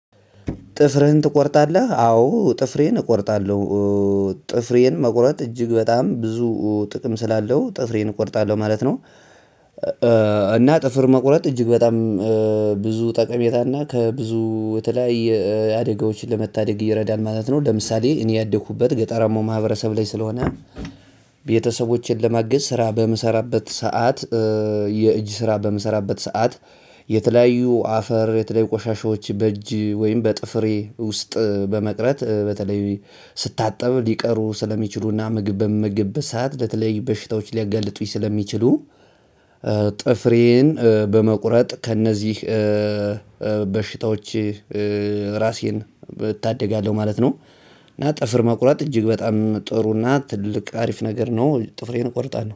ጥፍርህን ትቆርጣለህ? አዎ ጥፍሬን እቆርጣለሁ ጥፍሬን መቁረጥ እጅግ በጣም ብዙ ጥቅም ስላለው ጥፍሬን እቆርጣለሁ ማለት ነው። እና ጥፍር መቁረጥ እጅግ በጣም ብዙ ጠቀሜታና ከብዙ የተለያየ አደጋዎችን ለመታደግ እየረዳን ማለት ነው ለምሳሌ እኔ ያደኩበት ገጠራማው ማህበረሰብ ላይ ስለሆነ። ቤተሰቦቼን ለማገዝ ስራ በምሰራበት ሰዓት የእጅ ስራ በምሰራበት ሰዓት የተለያዩ አፈር የተለያዩ ቆሻሻዎች በእጅ ወይም በጥፍሬ ውስጥ በመቅረት በተለይ ስታጠብ ሊቀሩ ስለሚችሉና ምግብ በምግብ ሰዓት ለተለይ በሽታዎች ሊያጋልጡኝ ስለሚችሉ። ጥፍሬን በመቁረጥ ከእነዚህ በሽታዎች ራሴን እታደጋለሁ ማለት ነው። እና ጥፍር መቁረጥ እጅግ በጣም ጥሩ እና ትልቅ አሪፍ ነገር ነው ጥፍሬን እቆርጣለው